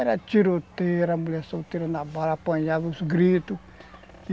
Era tiroteira, mulher solteira, na bala, apanhava os gritos.